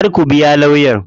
Kar ku biya lawyan.